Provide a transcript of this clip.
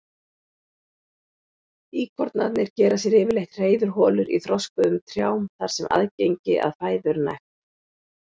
Íkornarnir gera sér yfirleitt hreiðurholur í þroskuðum trjám þar sem aðgengi að fæðu er nægt.